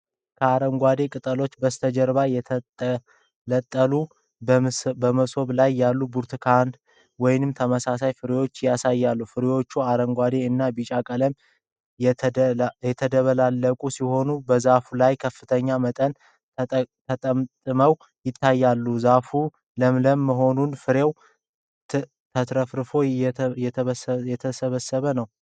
ከአረንጓዴ ቅጠሎች በስተጀርባ የተንጠለጠሉ በመብሰል ላይ ያሉ ብርቱካን (ወይም ተመሳሳይ ፍሬዎች) ያሳያል። ፍሬዎቹ አረንጓዴ እና ቢጫ ቀለሞች የተደበላለቁበት ሲሆን በዛፉ ላይ በከፍተኛ መጠን ተጠምጥመው ይታያሉ። ዛፉ ለምለም በመሆኑ ፍሬው ተትረፍርፎ እየተሰበሰበ ነው።